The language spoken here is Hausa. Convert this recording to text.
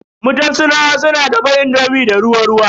Mutan Sinawa suna dafa indomi da ruwa ruwa.